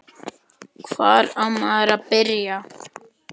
Hvar á maður að byrja?